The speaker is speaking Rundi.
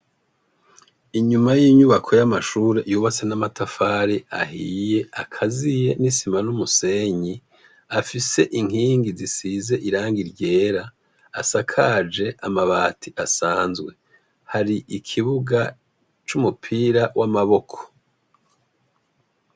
Inyuma y'inyubako y'amashuri yubatse n'amatafari ahiye, akaziye ,n'isima n'umusenyi ,afise inkingi zisize irangi ryera ,asakaje amabati asanzwe, hari ikibuga c'umupira w'amaboko.